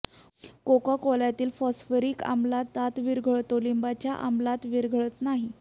कोकाकोल्यातल्या phosphoric आम्लात दात विरघळतो लिंबाच्या आम्लात विरघळत नाही